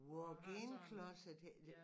Walk in closet hedder det